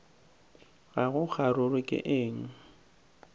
ga go kgaruru ke eng